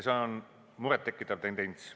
See on muret tekitav tendents.